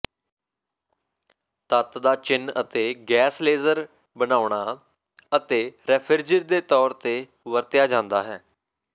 ਤੱਤ ਦਾ ਚਿੰਨ੍ਹ ਅਤੇ ਗੈਸ ਲੇਜ਼ਰ ਬਣਾਉਣਾ ਅਤੇ ਰੈਫਿਰਜੀਰ ਦੇ ਤੌਰ ਤੇ ਵਰਤਿਆ ਜਾਂਦਾ ਹੈ